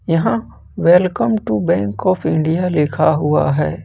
यहां welcome to bank of India लिखा हुआ है ।